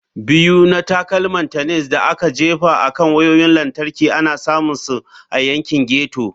Biyu na Takalman Tennis da aka Jefa akan Wayoyin Lantarki ana samun su a yankin ghetto.